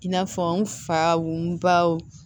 I n'a fɔ n faw